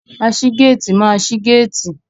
Aṣígéétìì máa ṣi géétìì.